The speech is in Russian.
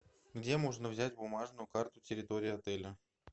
где можно взять бумажную карту территории отеля